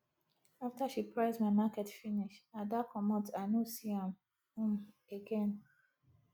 after she price my market finish ada comot i no see am um again